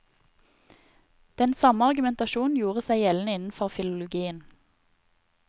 Den samme argumentasjonen gjorde seg gjeldende innenfor filologien.